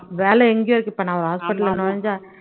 வேலை எங்கயும் இருக்கு இப்போ நான் ஒரு hospital உள்ள நுழைஞ்சா